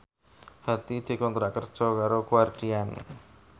Hadi dikontrak kerja karo Guardian